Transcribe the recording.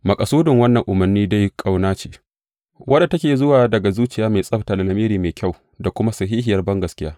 Maƙasudin wannan umarnin dai ƙauna ce, wadda take zuwa daga zuciya mai tsabta da lamiri mai kyau da kuma sahihiyar bangaskiya.